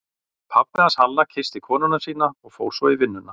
Pabbi hans Halla kyssti konuna sína og fór svo í vinnuna.